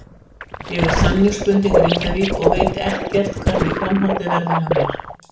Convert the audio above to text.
Ég er samningsbundinn Grindavík og veit ekkert hvernig framhaldið verður hjá mér.